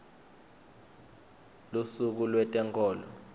lusuku lwetenkholo